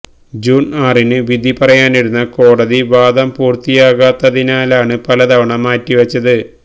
June ആറിന് വിധി പറയാനിരുന്ന കോടതി വാദം പൂര്ത്തിയാകാത്തതിനാലാണ് പലതവണ മാറ്റിവച്ചത്